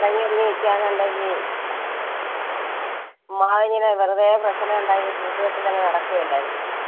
അടങ്ങി ഒതുങ്ങി നിക്കുവാണെന്നുണ്ടെങ്കിൽ ചുമ്മാതിങ്ങനെ വെറുതെ പ്രശ്നം ഉണ്ടാക്കി കൂട്ടുകെട്ടിൽ അങ്ങ് നടക്കുവല്ലാർന്നോ.